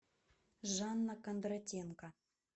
жанна кондратенко